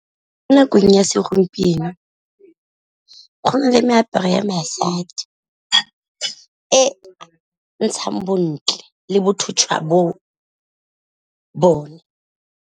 Mo nakong ya segompieno go na le meaparo ya basadi e e ntshang bontle le botho jwa bone.